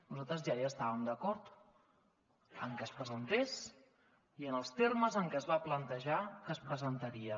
nosaltres ja hi estàvem d’acord amb que es presentés i amb els termes en què es va plantejar que es presentaria